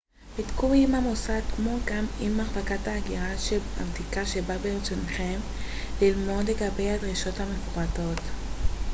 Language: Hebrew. בדקו עם המוסד כמו גם עם מחלקת ההגירה של המדינה שבה ברצונכם ללמוד לגבי הדרישות המפורטות